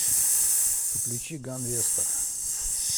включи ганвеста